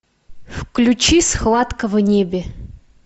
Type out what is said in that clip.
включи схватка в небе